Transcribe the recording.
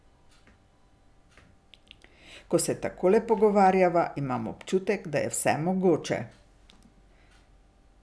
Ko se takole pogovarjava, imam občutek, da je vse mogoče.